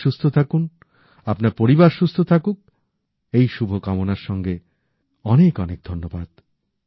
আপনি সুস্থ থাকুন আপনার পরিবার সুস্থ থাকুক এই শুভ কামনার সঙ্গে অনেক অনেক ধন্যবাদ